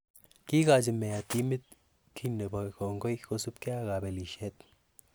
Kiigochi mayor timit kiiy nepo kongoi kosipkei ak kopelishet